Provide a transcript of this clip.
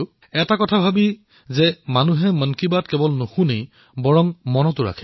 মন কী বাত কেৱল মানুহে নুশুনে ইয়াৰ বহু উপলক্ষ মনতো ৰাখে এই কথাই মোক প্ৰসন্ন কৰি তুলিলে